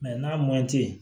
n'a man di ye